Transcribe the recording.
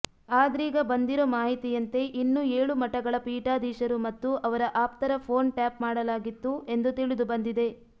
ಆದ್ರೀಗ ಬಂದಿರೋ ಮಾಹಿತಿಯಂತೆ ಇನ್ನೂ ಏಳು ಮಠಗಳ ಫೀಠಾಧೀಶರು ಮತ್ತು ಅವರ ಆಪ್ತರ ಫೋನ್ ಟ್ಯಾಪ್ ಮಾಡಲಾಗಿತ್ತು ಎಂದು ತಿಳಿದುಬಂದಿದೆ